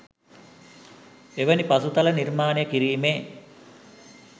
එවැනි පසුතල නිර්මාණය කිරීමේ